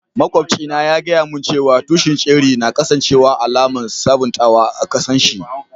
Maƙwabci na ya gaya mun cewa tushin ceri na kasance alaman sabuntawa a kasan shi.